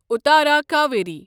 اتارا کاویری